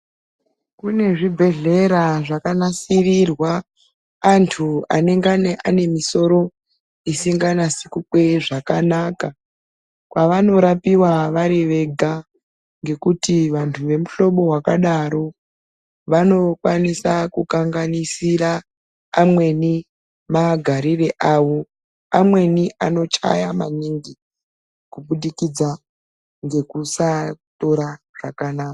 Kunezvibhehlera zvakanasirirwa antu anenge anemisoro isinganasi kukweye zvakanaka kwavanorapiwa varivega ngekuti vemuhlobo wakadaro vanokwanisa kukanganisira amweni magarire avo ,amweni anochaya maningi kuburikidza nekusatora zvakanaka.